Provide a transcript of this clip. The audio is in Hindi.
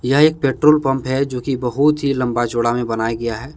यह एक पेट्रोल पंप है जो कि बहुत ही लंबा चौड़ा में बनाए गया है।